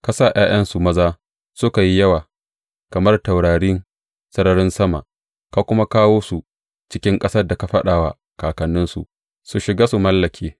Ka sa ’ya’yansu maza suka yi yawa kamar taurarin sararin sama, ka kuma kawo su cikin ƙasar da ka faɗa wa kakanninsu su shiga su mallake.